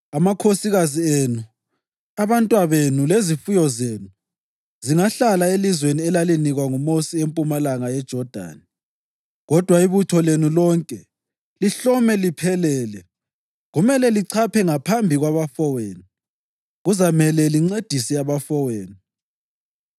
Amakhosikazi enu, abantwabenu lezifuyo zenu zingahlala elizweni elalinikwa nguMosi empumalanga yeJodani, kodwa ibutho lenu lonke, lihlome liphelele, kumele lichaphe ngaphambi kwabafowenu. Kuzamele lincedise abafowenu,